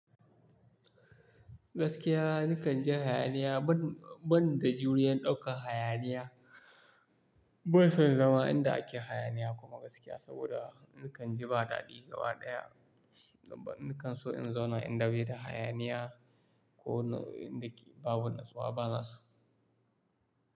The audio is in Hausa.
Gaskiya nakan ji hayaniya ban, ban da juriya ɗaukan hayaniya. Ban son zama inda ake hayaniya kuma gaskiya saboda nakan ji ba daɗi gaba ɗaya. Daban nakan so in zauna inda bai da hayaniya ko inda babu nasuwa bana so.